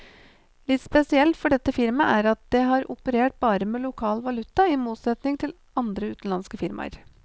Litt spesielt for dette firmaet er at det har operert bare med lokal valuta, i motsetning til andre utenlandske firmaer.